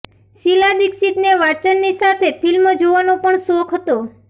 શીલા દીક્ષિતને વાંચનની સાથે ફિલ્મ જોવાનો પણ શોખ હતો